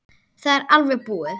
Það er alveg búið.